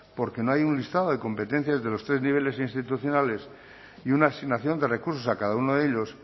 porque no hay un listado de competencias de los tres niveles institucionales y una asignación de recursos a cada uno de ellos